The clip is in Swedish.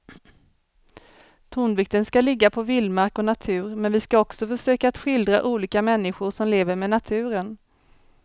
Tonvikten ska ligga på vildmark och natur men vi ska också försöka att skildra olika människor som lever med naturen.